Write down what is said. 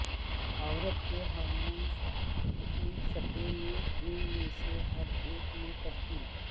عورت کے ہارمون کی سطح میں ان میں سے ہر ایک میں تبدیل